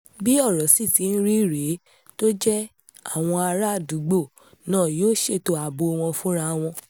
bí ọ̀rọ̀ sì ti ń rí rèé tó jẹ́ àwọn àràádúgbò náà yóò ṣètò ààbò wọn fúnra wọn